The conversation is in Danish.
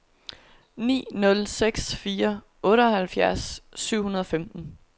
ni nul seks fire otteoghalvfjerds syv hundrede og femten